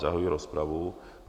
Zahajuji rozpravu.